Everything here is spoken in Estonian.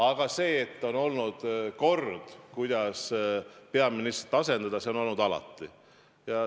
Aga see kord, kuidas peaministrit asendatakse, on olnud alati.